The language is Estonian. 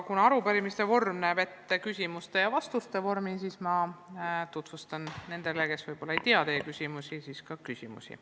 Kuna arupärimise vorm näeb ette küsimuste ja vastuste vormi, siis ma tutvustan nendele, kes võib-olla ei tea konkreetset arupärimise teksti, ka küsimusi.